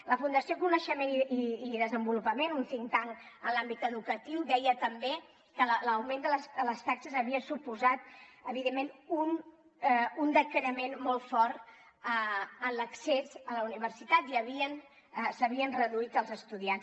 la fundació coneixement i desenvolupament un think tank en l’àmbit educatiu deia també que l’augment de les taxes havia suposat evidentment un decrement molt fort a l’accés a la universitat i s’havien reduït els estudiants